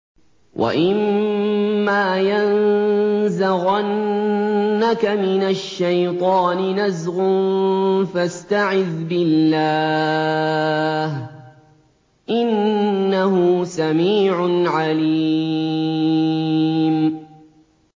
وَإِمَّا يَنزَغَنَّكَ مِنَ الشَّيْطَانِ نَزْغٌ فَاسْتَعِذْ بِاللَّهِ ۚ إِنَّهُ سَمِيعٌ عَلِيمٌ